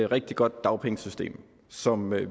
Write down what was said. rigtig godt dagpengesystem som vi